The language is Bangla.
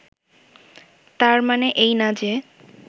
তার মানে এই না যে